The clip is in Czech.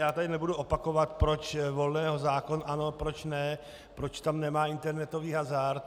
Já tady nebudu opakovat, proč Volného zákon ano, proč ne, proč tam nemá internetový hazard.